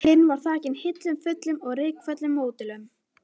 Hinn var þakinn hillum fullum af rykföllnum módelum.